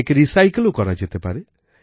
একে recycleওকরা যেতে পারে